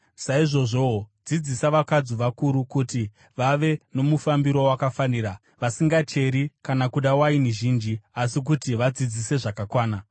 Saizvozvowo, dzidzisa vakadzi vakuru kuti vave nomufambiro wakafanira, vasingacheri, kana kuda waini zhinji, asi kuti vadzidzise zvakanaka.